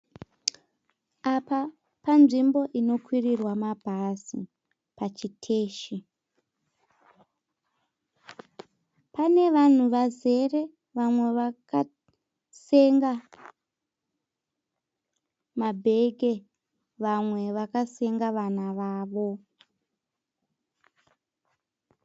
Apa panzvimbo inokwirirwa mabhazi pachiteshi. Pane vanhu vazere vamwe vakasenga mabheke vamwe vakasenga vana vavo.